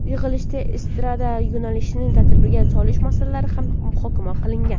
Yig‘ilishda estrada yo‘nalishini tartibga solish masalalari ham muhokama qilingan.